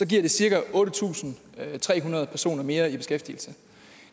det cirka otte tusind tre hundrede personer mere i beskæftigelse